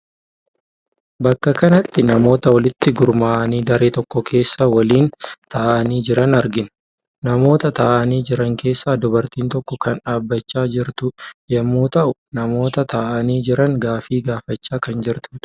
Bakka kanatti namoota walitti gurmaa'anii daree tokko keessa waliin ta'anii jiran argina. Namoota taa'anii jiran keessaa dubartiin tokko kan dhaabbachaa jirtu yommuu ta'u namoota taa'anii jiran gaaffii gaafachaa kan jirtudha.